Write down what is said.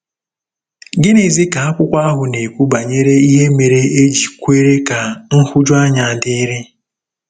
Gịnịzi ka akwụkwọ ahụ na-ekwu banyere ihe mere e ji kwere ka nhụjuanya dịrị?